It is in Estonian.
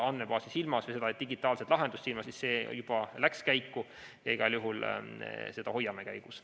Kui te seda digitaalset lahendust silmas pidasite, siis see juba läks käiku ja igal juhul me seda hoiame käigus.